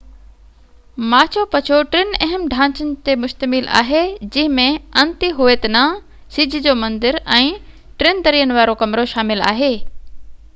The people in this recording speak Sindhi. ماچو پچو ٽن اهم ڍانچن تي مشتمل آهي جنهن ۾ انتي هويتنا سج جو مندر ۽ ٽن درين وارو ڪمرو شامل آهي